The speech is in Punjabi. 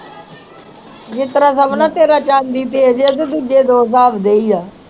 ਜਿਸ ਤਰ੍ਹਾਂ ਸਮਝ ਲਾ ਤੇਰਾ ਚਾਂਦੀ ਤੇਜ ਆ ਤੇ ਦੂਜੇ ਦੋ ਦੇ ਹੀ ਆ